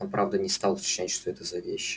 он правда не стал уточнять что это за вещи